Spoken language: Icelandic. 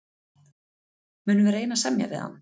Munum við reyna að semja við hann?